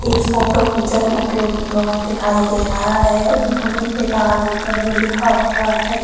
इस फोटो में जन उपयोगी भवन दिखाई दे रहा है भवन के बाहर ऊपर में लिखा हुआ है।